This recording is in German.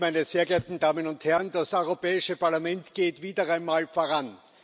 Herr Präsident, meine sehr geehrten Damen und Herren! Das Europäische Parlament geht wieder einmal voran.